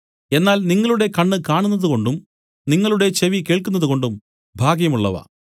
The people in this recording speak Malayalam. എന്നാൽ നിങ്ങളുടെ കണ്ണ് കാണുന്നതുകൊണ്ടും നിങ്ങളുടെ ചെവി കേൾക്കുന്നതുകൊണ്ടും ഭാഗ്യമുള്ളവ